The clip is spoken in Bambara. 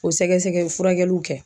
O sɛgɛsɛgɛ furakɛliw kɛ